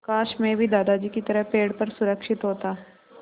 काश मैं भी दादाजी की तरह पेड़ पर सुरक्षित होता